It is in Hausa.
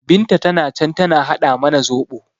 Binta tana can tana haɗa mana zoɓo